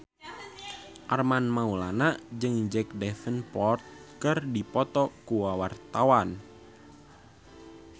Armand Maulana jeung Jack Davenport keur dipoto ku wartawan